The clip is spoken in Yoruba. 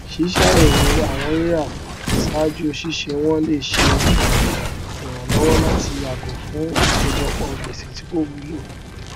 ṣíṣàyẹwò àwọn rírà ṣáájú ṣíṣe wọn lè ṣe ìrànlọwọ láti yàgò fún ìkọjọpọ gbèsè tí kò wúlò